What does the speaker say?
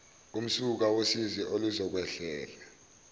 umsuka wosizi oluzokwehlela